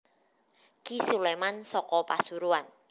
Ki Suleman saka Pasuruan